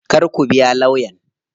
Kar ku biya lawyan.